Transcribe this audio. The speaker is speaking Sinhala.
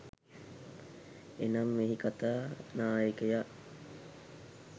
එනම්, මෙහි කතා නායකයා